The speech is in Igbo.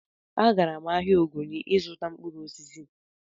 Agara m ahịa Ogoni ịzụta mkpụrụ osisi